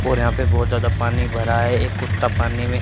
और यहां पे बहोत ज्यादा पानी भरा है एक कुत्ता पानी में--